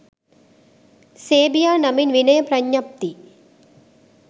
සේබියා නමින් විනය ප්‍රඥප්ති